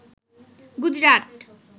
Gujarat